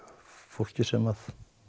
fólki sem